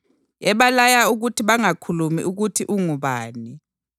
ebalaya ukuthi bangakhulumi ukuthi ungubani.